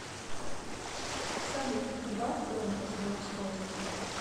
салют убавь громкость на устройстве